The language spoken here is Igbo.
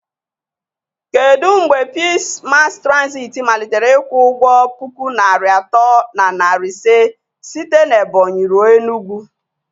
Kedu mgbe Pisii Masi Trazit malitere ịkwụ ụgwọ puku naịra atọ na narị ise site na Ebonyị ruo Enugwu